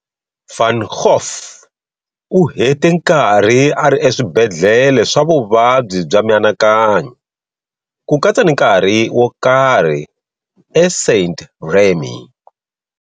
Van Gogh u hete nkarhi a ri eswibedlhele swa vuvabyi bya mianakanyo, ku katsa ni nkarhi wo karhi eSaint-Rémy.